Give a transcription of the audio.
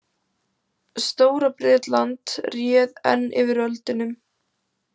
Stóra- Bretland réð enn yfir öldunum.